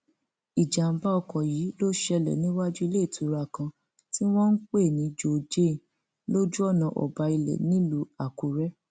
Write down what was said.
ìjàḿbà ọkọ yìí ló ṣẹlẹ níwájú iléìtura kan tí wọn ń pè ní joe jane lójú ọnà ọbailẹ nílùú àkúrẹ